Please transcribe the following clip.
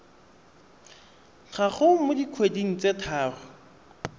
gago mo dikgweding tse tharo